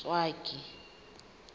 ntswaki